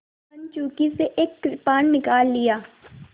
कंचुकी से एक कृपाण निकाल लिया